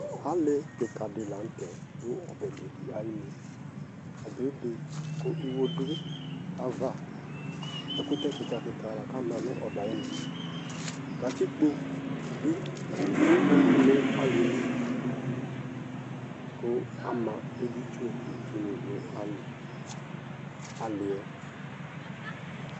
Ali kika di la nʋ tɛ dʋ ɔbe be di ayi nʋ Ɔbɛ yɛ ebe kʋ iwo dʋ aya ava Ɛkʋtɛ kika kika la kʋ ama nʋ ɔbɛ yɛ ayi nʋ Katikpo bi eli nʋ ali yɛ li kʋ ama editsu nʋ itsu ni nʋ ali yɛ